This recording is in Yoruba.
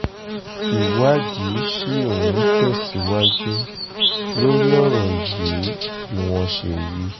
ìwádìí ṣì ń tẹ̀síwájú lórí ọ̀rọ̀ yìí bí wọ́n ṣe wí